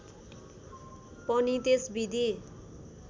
पनि त्यस विधि